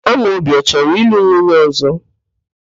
Amobi ọ chọrọ ịlụ nwunye ọ̀zọ́?